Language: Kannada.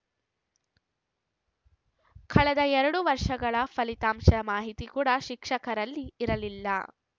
ಕಳೆದ ಎರಡು ವರ್ಷಗಳ ಫಲಿತಾಂಶದ ಮಾಹಿತಿ ಕೂಡ ಶಿಕ್ಷಕರಲ್ಲಿ ಇರಲಿಲ್ಲ